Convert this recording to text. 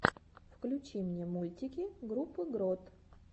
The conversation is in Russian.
включи мне мультики группы грот